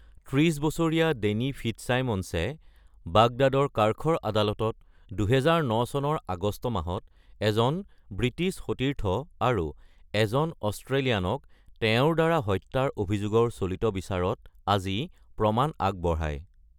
৩০ বছৰীয়া ডেনি ফিটজচাইমন্সে আজি বাগদাদৰ কাৰ্খৰ আদালতত ২০০৯ চনৰ আগষ্ট মাহত এজন ব্ৰিটিছ সতীৰ্থ আৰু এজন অষ্ট্ৰেলিয়ানক হত্যা কৰাৰ অভিযোগত তেওঁৰ বিচাৰত আজি সাক্ষ্যদান কৰে।